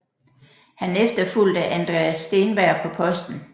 Han efterfulgte Andreas Steenberg på posten